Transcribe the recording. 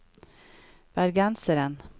bergenseren